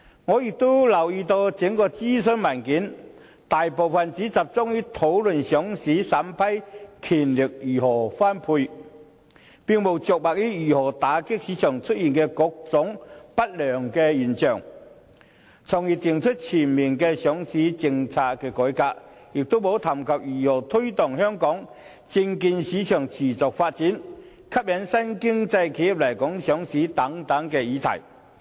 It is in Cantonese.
我亦留意到整份諮詢文件，大部分只集中於討論上市審批權如何分配，並無着墨於如何打擊市場出現的各種不良現象，從而訂出全面的上市政策改革，也沒有談及如何推動香港證券市場持續發展，吸引新經濟企業來港上市等議題。